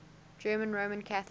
german roman catholics